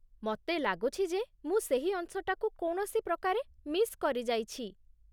ମତେ ଲାଗୁଛି ଯେ ମୁଁ ସେହି ଅଂଶଟାକୁ କୌଣସି ପ୍ରକାରେ ମିସ୍ କରିଯାଇଛି ।